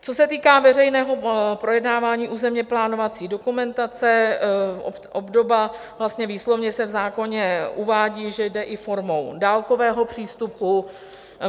Co se týká veřejného projednávání územně plánovací dokumentace, obdoba - vlastně výslovně se v zákoně uvádí, že jde i formou dálkového přístupu.